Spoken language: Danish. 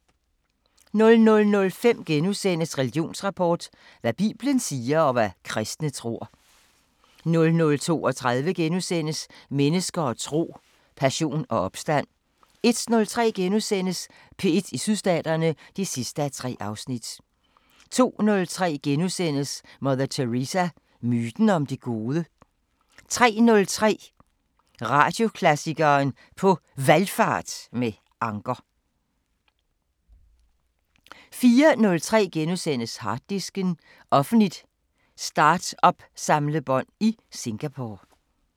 00:05: Religionsrapport: Hvad bibelen siger, og hvad kristne tror... * 00:32: Mennesker og tro: Passion og opstand * 01:03: P1 i Sydstaterne (3:3)* 02:03: Mother Teresa – myten om det gode? * 03:03: Radioklassikeren: På Valgfart med Anker 04:03: Harddisken: Offentligt startup-samlebånd i Singapore *